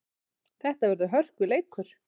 Þetta verður hörkuleikur!